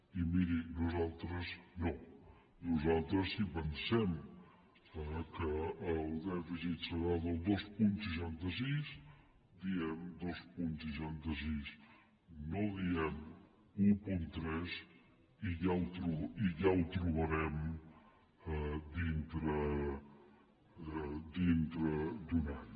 i miri nosaltres no nosaltres si pensem que el dèficit serà del dos coma seixanta sis diem dos coma seixanta sis no diem un coma tres i ja ho trobarem dintre d’un any